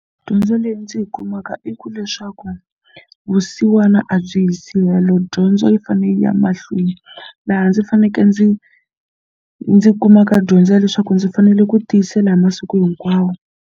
Dyondzo leyi ndzi yi kumaka i ku leswaku vusiwana a byi yisi helo dyondzo yi fanele yi ya mahlweni laha ndzi fanekele ndzi ndzi kumaka dyondzo ya leswaku ndzi fanele ku tiyisela hi masiku hinkwawo.